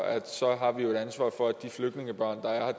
så har et ansvar for at de flygtningebørn der er